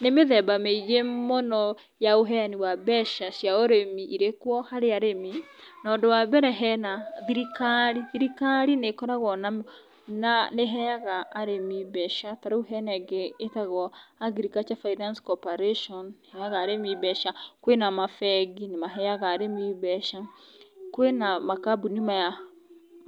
Nĩ mĩthemba mĩingĩ mũno ya ũheani wa mbeca cia ũrĩmi irĩ kuo harĩ arĩmi, na ũndũ wa mbere hena, thirikari, thirikari nĩĩkoragwo na, nĩĩheaga arĩmi mbeca. Ta rĩũ hena ĩngĩ ĩtagwo Agriculture Finance Corporation nĩ ĩheaga arĩmi mbeca, kwĩ na mabengi , nĩ maheaga arĩmi mbeca, kwĩ na makambũni maya